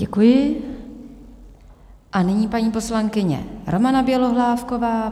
Děkuji a nyní paní poslankyně Romana Bělohlávková.